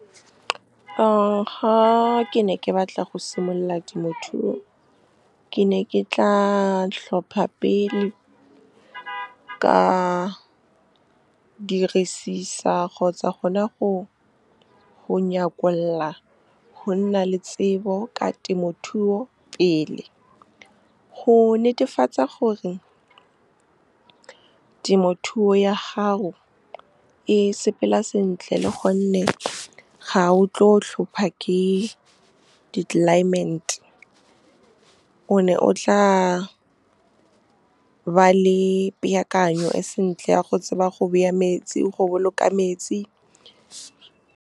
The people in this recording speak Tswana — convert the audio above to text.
Ga ke ne ke batla go simolola temothuo, ke ne ke tla tlhopha pele, ka dirisisa kgotsa gona go nnyakolla go nna le tsebo ka temothuo pele, go netefatsa gore temothuo ya hao e sepela sentle, le gonne ga o tlo o hlopha ke di-climate, o ne o tla ba le peakanyo e sentle ya go tseba go go boloka metsi. Ga ke ne ke batla go simolola temothuo, ke ne ke tla tlhopha pele, ka dirisisa kgotsa gona go nnyakolla go nna le tsebo ka temothuo pele, go netefatsa gore temothuo ya hao e sepela sentle, le gonne ga o tlo o hlopha ke di-climate, o ne o tla ba le peakanyo e sentle ya go tseba go go boloka metsi.